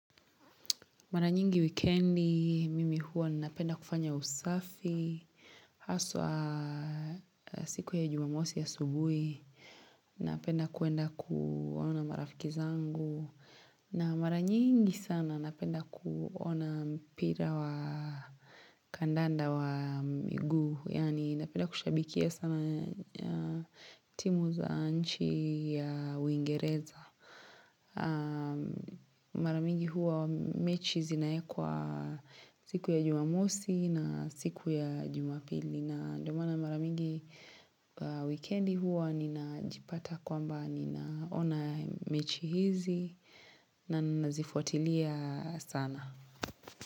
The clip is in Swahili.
Mara nyingi wikendi, mimi hua napenda kufanya usafi, haswa siku ya jumamosi asubui, napenda kuenda kuona marafiki zangu. Na mara nyingi sana napenda kuona mpira wa kandanda wa miguu, yaani napenda kushabikia sana timu za nchi ya uingereza. Mara mingi huwa mechi zinaekwa siku ya jumamosi na siku ya jumapili na ndo maana maramingi wikendi huwa ninajipata kwamba ninaona mechi hizi na nazifuatilia sana.